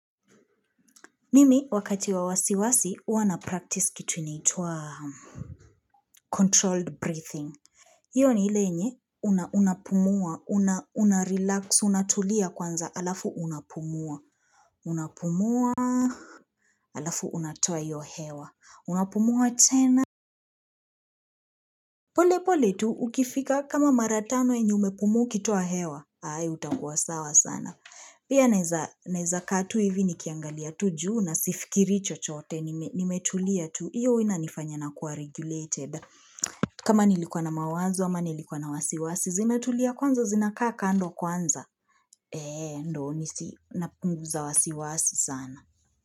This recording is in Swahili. Mimi wakati wa wasiwasi huwa na practice kitu inaitwwa Controlled Breathing hiyo ni ile yenye unapumua unarelax unatulia kwanza halafu unapumua unapumua halafu unatoa hiyo hewa unapumua tena pole pole tu ukifika kama maratano yenye umepumua kituwa hewa hai utakuwa sawa sana Pia neweza kaa tu hivi nikiangalia tu juu nasifikirii chochoote nimetulia tu hiyo huwa inanifanya na kuwa regulated kama nilikuwa na mawanzo ama nilikuwa na wasiwasi Zimetulia kwanza zinakaa kando kwanza Eee ndio nisi napunguza wasiwasi sana.